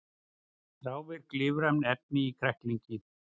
Þrávirk lífræn efni í kræklingi